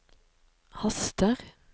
haster